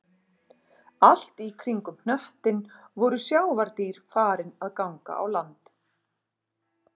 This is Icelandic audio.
Allt í kringum hnöttinn voru sjávardýr farin að ganga á land